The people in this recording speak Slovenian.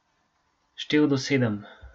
Štel do sedem.